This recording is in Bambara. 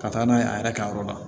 Ka taa n'a ye a yɛrɛ ka yɔrɔ la